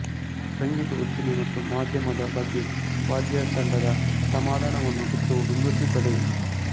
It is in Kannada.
ಸಂಗೀತ ಉದ್ದಿಮೆ ಮತ್ತು ಮಾಧ್ಯಮದ ಬಗ್ಗೆ ವಾದ್ಯತಂಡದ ಅಸಮಾಧಾನವನ್ನು ಚಿತ್ರವು ಬಿಂಬಿಸುತ್ತದೆ